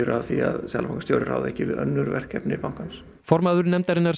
af því að seðlabankastjóri ráði ekki við önnur verkefni bankans formaður nefndarinnar